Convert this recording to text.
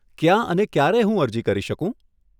ક્યાં અને ક્યારે હું અરજી કરી શકું?